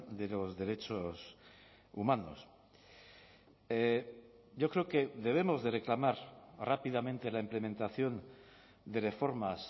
de los derechos humanos yo creo que debemos de reclamar rápidamente la implementación de reformas